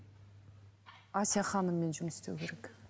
әсия ханыммен жұмыс істеу керек